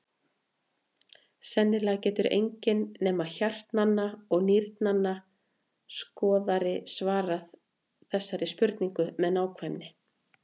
Sennilega getur enginn nema hjartnanna og nýrnanna skoðari svarað þessari spurningu með nákvæmni.